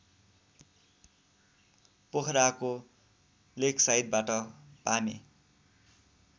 पोखराको लेकसाइडबाट पामे